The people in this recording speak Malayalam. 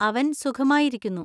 അവൻ സുഖമായിരിക്കുന്നു.